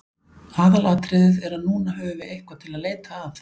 Aðalatriðið er að núna höfum við eitthvað til að leita að.